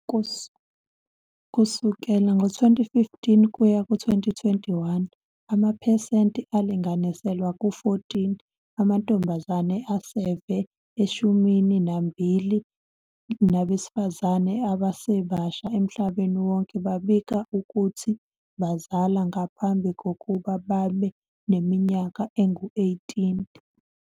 Kusukela ngo-2015 kuya ku-2021, amaphesenti alinganiselwa ku-14 amantombazane aseve eshumini nambili nabesifazane abasebasha emhlabeni wonke babika ukuthi bazala ngaphambi kokuba babe neminyaka engu-18.